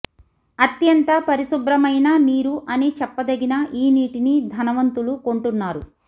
అత్యంత పరిశుభ్రమైన నీరు అని చెప్పదగిన ఈ నీటిని ధనవంతులు కొంటున్నారు